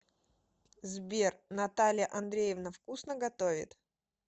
сбер наталья андреевна вкусно готовит